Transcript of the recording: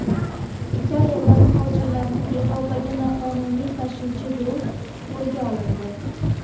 Italiyada muhojirlarni Yevropaga noqonuniy tashuvchi guruh qo‘lga olindi.